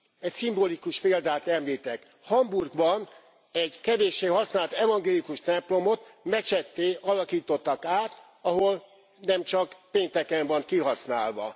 Egy szimbolikus példát említek Hamburgban egy kevéssé használt evangélikus templomot mecsetté alakítottak át, ahol nem csak pénteken van kihasználva.